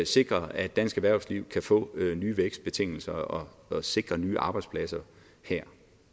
sikre at dansk erhvervsliv kan få nye vækstbetingelser og sikre nye arbejdspladser her